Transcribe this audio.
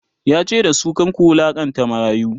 yace da su"kar ku wulaƙanta marayu!"